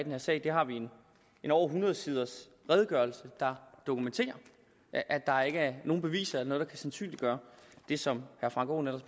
her sag vi har en over hundrede siders redegørelse der dokumenterer at der ikke er nogen beviser eller noget der kan sandsynliggøre det som herre frank aaen